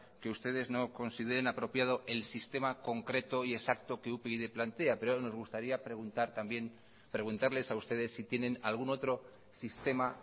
que ustedes no consideren apropiado el sistema concreto y exacto que upyd plantea pero nos gustaría preguntar también preguntarles a ustedes si tienen algún otro sistema